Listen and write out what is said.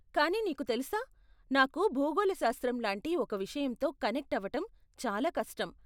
కానీ నీకు తెలుసా, నాకు భూగోళశాస్త్రం లాంటి ఒక విషయంతో కనెక్ట్ అవటం చాలా కష్టం.